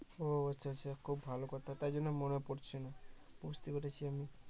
ও আচ্ছা আচ্ছা খুব ভালো কথা তার জন্য মনে পড়ছে না বুঝতে পেরেছি আমি